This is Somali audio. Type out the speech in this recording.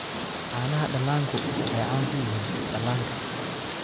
Caanaha dhallaanku waxay caan ku yihiin dhallaanka.